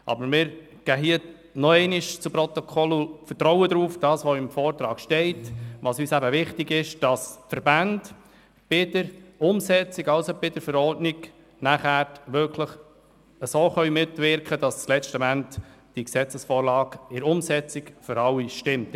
Aber wir vertrauen auf das, was im Vortrag steht, besonders darauf, dass die Verbände bei der Umsetzung auf Verordnungsstufe nachher so mitwirken können, dass im letzten Moment dann die Gesetzesvorlage für alle stimmt.